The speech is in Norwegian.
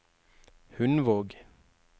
Hundvåg